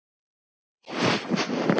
Við verðum frægir.